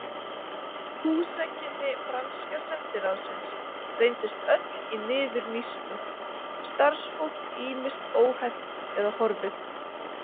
Húsakynni franska sendiráðsins reyndust öll í niðurníðslu, starfsfólk ýmist óhæft eða horfið.